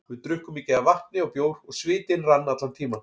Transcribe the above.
Við drukkum mikið af vatni og bjór og svitinn rann allan tímann.